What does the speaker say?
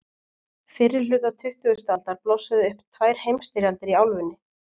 fyrri hluta tuttugustu aldar blossuðu upp tvær heimsstyrjaldir í álfunni